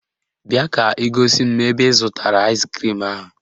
Bịa ka ị gosi m ebe ị zụtara aịskrim ahụ